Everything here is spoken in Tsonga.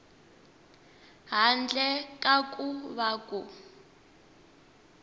handle ka ku va ku